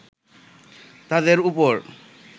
তাদের ওপর